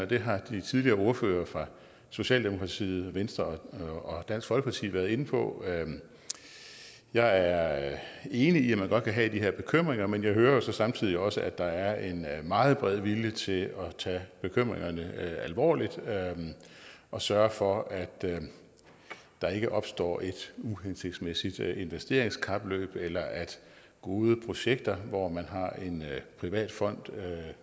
det har de tidligere ordførere fra socialdemokratiet venstre og dansk folkeparti været inde på jeg er enig i at man godt kan have de her bekymringer men jeg hører jo så samtidig også at der er en meget bred vilje til at tage bekymringerne alvorligt og sørge for at der ikke opstår et uhensigtsmæssigt investeringskapløb eller at gode projekter hvor man har en privat fond